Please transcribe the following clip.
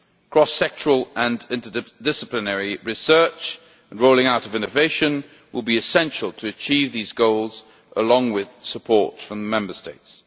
Cross sectoral and inter disciplinary research and rolling out of innovation will be essential to achieve these goals, along with support from Member States.